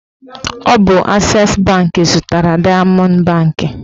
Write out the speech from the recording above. Ọ bụ ases banki zụtara dayamọnd banki